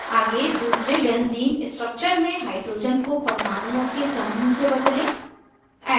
आगे दूसरे benzene structure में hydrogen को परमाणुओं के समूह से बदलें